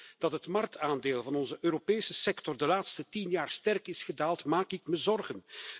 Als ik hoor dat het marktaandeel van onze Europese sector de laatste tien jaar sterk is gedaald, maak ik me zorgen.